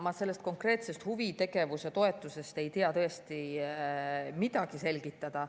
Ma selle konkreetse huvitegevuse toetuse kohta ei tea tõesti midagi selgitada.